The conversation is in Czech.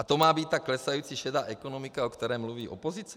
A to má být ta klesající šedá ekonomika, o které mluví opozice?